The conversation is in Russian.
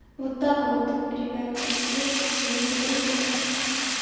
вот так вот ребята верьте своим подругам